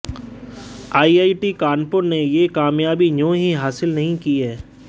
IIT Kanpur ने ये कामयाबी यूं ही हासिल नहीं की है